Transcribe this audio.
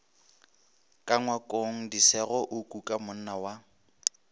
ka ngwakongdisego a kukamonna wa